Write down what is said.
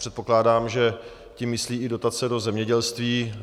Předpokládám, že tím myslí i dotace do zemědělství.